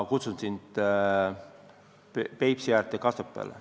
Ma kutsun sind Peipsi äärde Kasepääle.